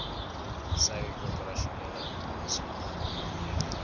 sy operasionele aanslag